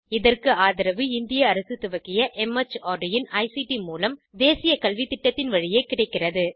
இதற்கு ஆதரவு இந்திய அரசு துவக்கிய மார்ட் இன் ஐசிடி மூலம் தேசிய கல்வித்திட்டத்தின் வழியே கிடைக்கிறது